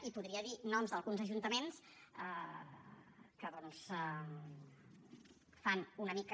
i podria dir noms d’alguns ajuntaments que doncs fan una mica